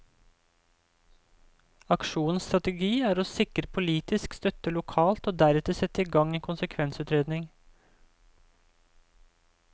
Aksjonens strategi er å sikre politisk støtte lokalt, og deretter sette i gang en konsekvensutredning.